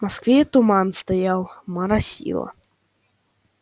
в москве туман стоял моросило